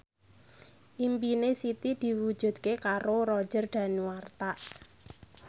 impine Siti diwujudke karo Roger Danuarta